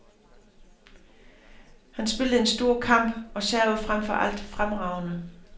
Han spillede en stor kamp og servede frem for alt fremragende.